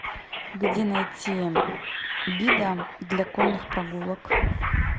где найти гида для конных прогулок